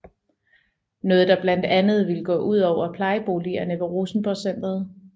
Noget der blandt andet ville gå udover plejeboligerne ved Rosenborgcentret